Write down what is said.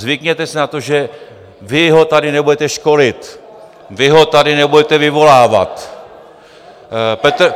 Zvykněte si na to, že vy ho tady nebudete školit, vy ho tady nebudete vyvolávat.